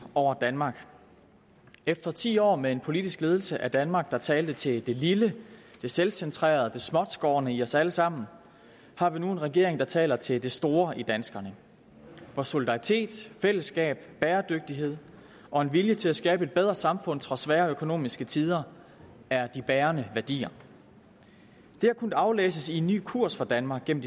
over danmark efter ti år med en politisk ledelse af danmark der talte til det lille det selvcentrerede og det småtskårne i os alle sammen har vi nu en regering der taler til det store i danskerne hvor solidaritet fællesskab bæredygtighed og en vilje til at skabe et bedre samfund trods svære økonomiske tider er de bærende værdier det har kunnet aflæses i en ny kurs for danmark gennem